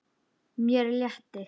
Mér létti.